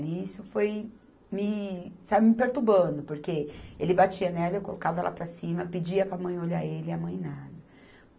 E isso foi me, sabe, me perturbando, porque ele batia nela, eu colocava ela para cima, pedia para a mãe olhar ele e a mãe nada.